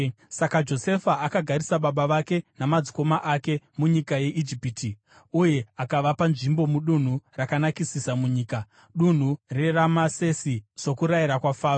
Saka Josefa akagarisa baba vake namadzikoma ake munyika yeIjipiti uye akavapa nzvimbo mudunhu rakanakisisa munyika, dunhu reRamasesi, sokurayira kwaFaro.